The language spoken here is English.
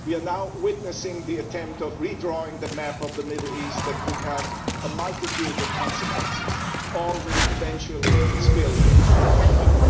We are now witnessing an attempt at re drawing the map of the Middle East that could have a multitude of consequences. All will eventually spill into Europe.